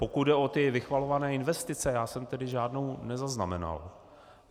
Pokud jde o ty vychvalované investice, já jsem tedy žádnou nezaznamenal.